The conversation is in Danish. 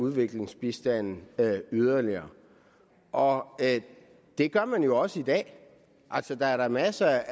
udviklingsbistanden yderligere og det gør man jo også i dag altså der er da masser